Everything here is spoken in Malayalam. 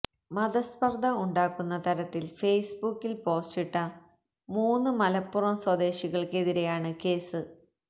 മതസ്പർദ ഉണ്ടാക്കുന്ന തരത്തിൽ ഫേസ്ബുക്കിൽ പോസ്റ്റിട്ട മൂന്ന് മലപ്പുറം സ്വദേശികൾക്കെതിരെയാണ് കേസ്